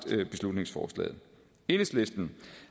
beslutningsforslaget enhedslisten